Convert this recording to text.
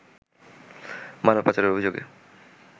মানব পাচারের অভিযোগে